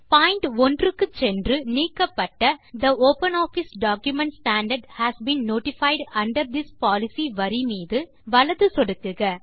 point 1 க்கு சென்று நீக்கப்பட்ட the OpenOffice document standard has been notified under this policy வரி மீது வலது சொடுக்குக